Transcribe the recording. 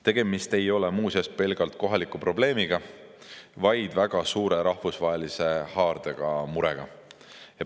Tegemist ei ole muuseas pelgalt kohaliku probleemiga, vaid väga suure rahvusvahelise haardega murega.